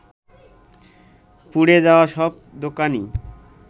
পুড়ে যাওয়া সব দোকানই